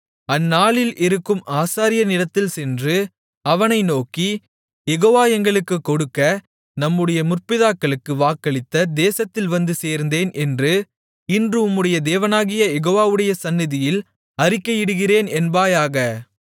அந்நாட்களில் இருக்கும் ஆசாரியனிடத்தில் சென்று அவனை நோக்கி யெகோவா எங்களுக்குக் கொடுக்க நம்முடைய முற்பிதாக்களுக்கு வாக்களித்த தேசத்தில் வந்து சேர்ந்தேன் என்று இன்று உம்முடைய தேவனாகிய யெகோவாவுடைய சந்நிதியில் அறிக்கையிடுகிறேன் என்பாயாக